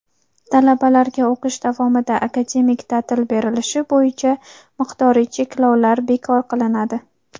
talabalarga o‘qish davomida akademik ta’til berilishi bo‘yicha miqdoriy cheklovlar bekor qilinadi;.